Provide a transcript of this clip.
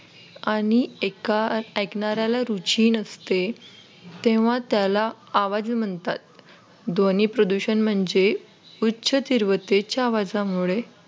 आणि एका ऐकणाऱ्याला रुची नसते तेव्हा त्याला आवाज म्हणतात ध्वनी प्रदूषण म्हणजे उच्च तीव्रतेच्या आवाजामुळे,